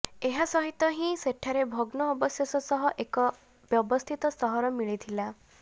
ଏହା ସହିତ ହିଁ ସେଠାରେ ଭଗ୍ନ ଅବଶେଷ ସହ ଏକ ବ୍ୟବସ୍ଥିତ ସହର ମିଳିଥିଲା